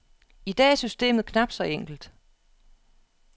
I dag er systemet knapt så enkelt.